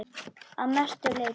Að mestu leyti